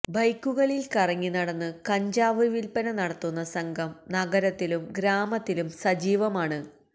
ബൈക്കുകളില് കറങ്ങിനടന്നു കഞ്ചാവ് വില്പ്പന നടത്തുന്ന സംഘം നഗരത്തിലും ഗ്രാമത്തിലും സജീവമാണ്